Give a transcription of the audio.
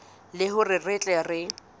le hore re tle re